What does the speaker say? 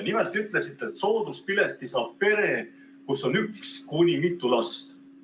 Nimelt ütlesite, et sooduspileti saab pere, kus on üks kuni mitu last.